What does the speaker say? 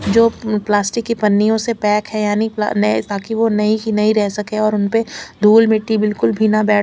जो पल्स्टिक की पानियों से पैक है यानि में ताकि वो नई की नई रह सके और उनपर धुल मिट्टी बिलकुल भी न बेठ--